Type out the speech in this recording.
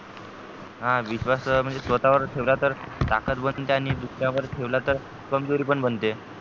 हा विश्वास स्वतः वर ठेवला तर ताकत बनते आणि दुसऱ्या वर ठेवला तर कमजोरी पण बनते